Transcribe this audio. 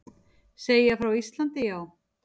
Segja frá Íslandi, já.